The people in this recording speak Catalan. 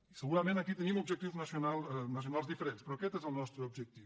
i segurament aquí tenim objectius nacionals diferents però aquest és el nostre objectiu